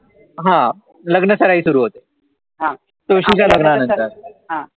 हा लग्नसराही सुरु होते, तुळशीच्या लग्नांनानंतर